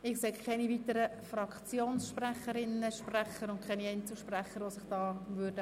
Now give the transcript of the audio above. Ich sehe keine weiteren Einzelsprecherinnen und -sprecher.